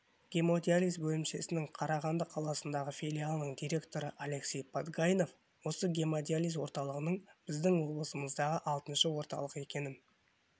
гемодиализ бөлімшесінің қарағанды қаласындағы филиалының директоры алексей подгайнов осы гемодиализ орталығының біздің облысымыздағы алтыншы орталық екенін